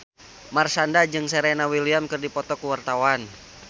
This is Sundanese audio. Marshanda jeung Serena Williams keur dipoto ku wartawan